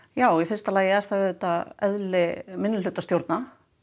já í fyrsta lagi er það eðli minnihlutastjórna